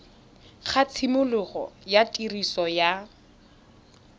ga tshimologo ya tiriso ya